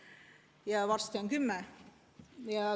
Ja varsti on 10.